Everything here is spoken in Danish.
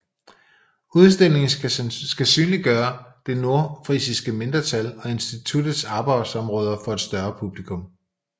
Udstillingen skal synliggøre det nordfrisiske mindretal og institutets arbejdsområder for et større publikum